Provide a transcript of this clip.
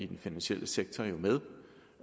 den finansielle sektor med